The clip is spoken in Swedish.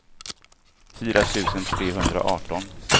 fyra tusen trehundraarton